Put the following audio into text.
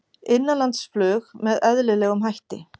Innanlandsflug með eðlilegum hætti